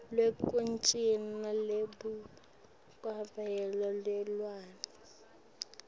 lwekugcina lwekubhadala luwela